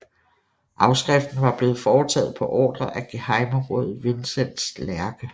Afskriften var blevet foretaget på ordre af gehejmeråd Vincents Lerche